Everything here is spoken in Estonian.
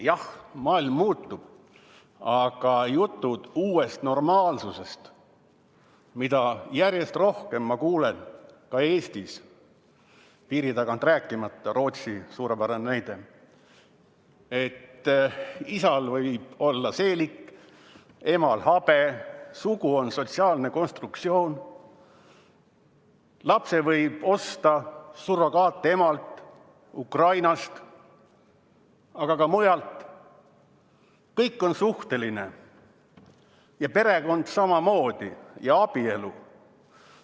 Jah, maailm muutub, aga jutud uuest normaalsusest, mida ma järjest rohkem kuulen ka Eestis, piiritagusest rääkimata , on sellised, et isal võib olla seelik, emal habe, sugu on sotsiaalne konstruktsioon, lapse võib osta surrogaatemalt Ukrainast, aga ka mujalt, kõik on suhteline, perekond samamoodi ja abielu.